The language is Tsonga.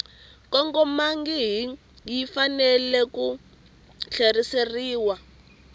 kongomangihi yi fanele ku tlheriseriwa